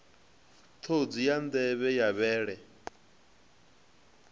ṱhodzi ya nḓevhe ya vhele